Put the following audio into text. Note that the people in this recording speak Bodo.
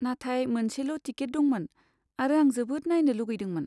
नाथाय मोनसेल' टिकेट दंमोन, आरो आं जोबोद नायनो लुगैदोंमोन।